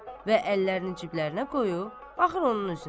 Və əllərini ciblərinə qoyub, baxır onun üzünə.